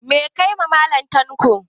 Meh ka yi ma Mallam tanko?